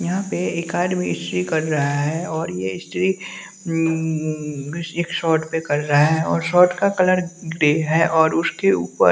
यहां पे एक आदमी इस्त्री कर रहा है और ये इस्त्री उम्म एक शर्ट पे कर रहा है और शर्ट का कलर ग्रे है और उसके ऊपर--